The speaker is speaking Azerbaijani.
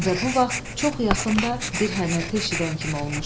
Və bu vaxt çox yaxında bir hənirti eşidən kimi olmuşdu.